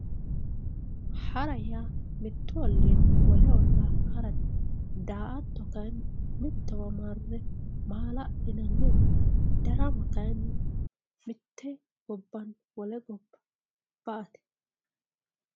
Hara yaa mittu ollinni wole harate, daa"atto kayinni mittowa marre maala'linanni waati ,darama kayinni mitte gobbanni wole gobba ba"ate.